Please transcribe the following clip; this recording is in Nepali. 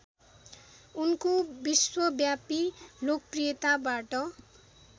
उनको विश्वव्यापी लोकप्रियताबाट